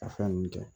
A fɛn ninnu kɛ